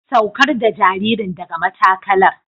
Saukar da jaririn daga matakalar.